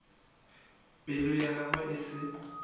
pelo ya gagwe e se